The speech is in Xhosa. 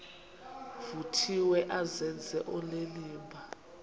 vuthiwe azenze onenimba